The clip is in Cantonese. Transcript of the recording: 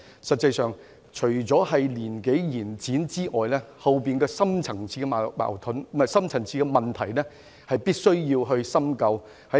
實際上，除了延展退休年齡外，背後的深層次問題亦必須深究。